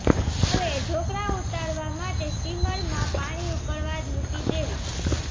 હવે ઢોકળા ઉતારવા માટે સ્ટીમરમાં પાણી ઉકળવા મુકી દેવું